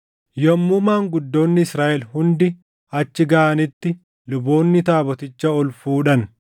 Yommuu maanguddoonni Israaʼel hundi achi gaʼanitti luboonni taaboticha ol fuudhan;